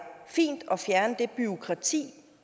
fint at fjerne det bureaukrati